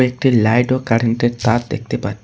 একটি লাইট ও কারেন্টের তার দেখতে পা--